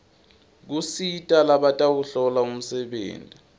kusita labatawuhlola umsebenti